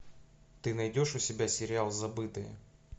ты найдешь у себя сериал забытые